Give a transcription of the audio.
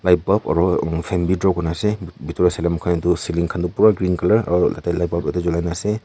aru bi draw kurina ase itu saile muihan itu ceiling khan pura green colour aru tateh light bulb julaina ase.